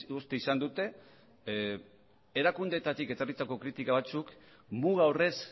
uste izan dute erakundeetatik etorritako kritika batzuk muga horrez